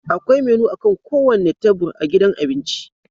Akwai menu akan kowane tebur a gidan abinci